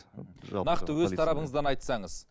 нақты өз тарапыңыздан айтсаңыз